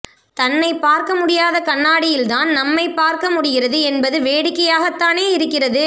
தன்னைப் பார்க்க முடியாத கண்ணாடியில் தான் நம்மைப் பார்க்க முடிகிறது என்பது வேடிக்கையாகத் தானே இருக்கிறது